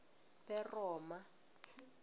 beroma